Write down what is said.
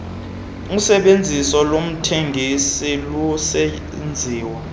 usebenziso lomthengi lusenziwa